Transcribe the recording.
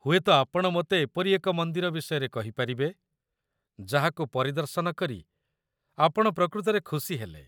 ହୁଏତ ଆପଣ ମୋତେ ଏପରି ଏକ ମନ୍ଦିର ବିଷୟରେ କହିପାରିବେ ଯାହାକୁ ପରିଦର୍ଶନ କରି ଆପଣ ପ୍ରକୃତରେ ଖୁସି ହେଲେ।